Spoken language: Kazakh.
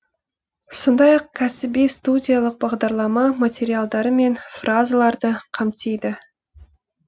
сондай ақ кәсіби студиялық бағдарлама материалдары мен фразаларды қамтиды